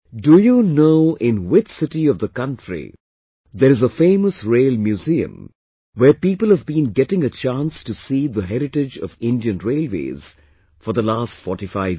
Do you know in which city of the country there is a famous Rail Museum where people have been getting a chance to see the heritage of Indian Railways for the last 45 years